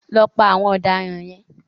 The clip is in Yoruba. Lọ pa àwọn ọ̀daràn yẹn.